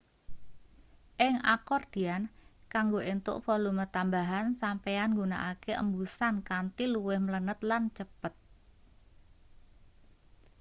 ing akordian kanggo entuk volume tambahan sampeyan nggunakake embusan kanthi luwih mlenet lan cepet